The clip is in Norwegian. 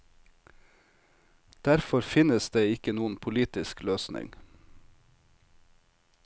Derfor finnes det ikke noen politisk løsning.